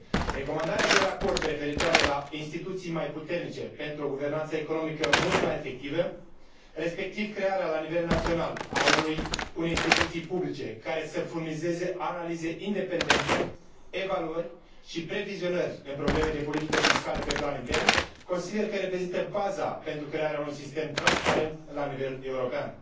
Recomandarea din raport referitoare la instituții mai puternice pentru o guvernanță economică mult mai efectivă respectiv crearea la nivel național a unei instituții publice care să furnizeze analize independente, evaluări și previzionări în probleme de politică fiscală pe plan intern consider că reprezintă baza pentru crearea pentru un sistem transparent la nivel european.